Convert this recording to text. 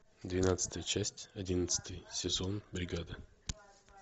двенадцатая часть одиннадцатый сезон бригада